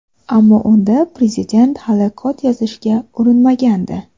Ammo unda prezident hali kod yozishga urinmagandi.